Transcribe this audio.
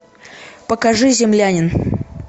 покажи землянин